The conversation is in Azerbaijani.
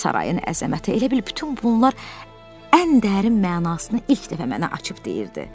sarayın əzəməti elə bil bütün bunlar ən dərin mənasını ilk dəfə mənə açıb deyirdi.